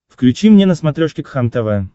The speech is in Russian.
включи мне на смотрешке кхлм тв